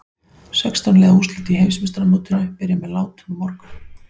Sextán liða úrslitin í Heimsmeistaramótinu byrja með látum á morgun.